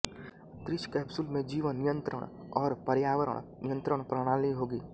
अंतरिक्ष कैप्सूल में जीवन नियंत्रण और पर्यावरण नियंत्रण प्रणाली होगी